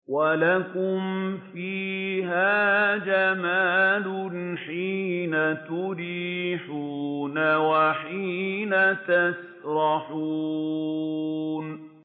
وَلَكُمْ فِيهَا جَمَالٌ حِينَ تُرِيحُونَ وَحِينَ تَسْرَحُونَ